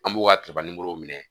An b'u ka minɛ